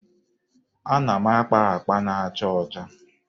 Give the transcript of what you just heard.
Ana m akpa akpa na-acha ọcha.